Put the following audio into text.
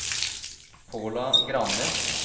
Paula Granli